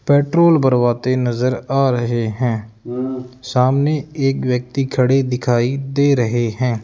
Petrol भरवाते नजर आ रहे हैं सामने एक व्यक्ति खड़े दिखाई दे रहे हैं।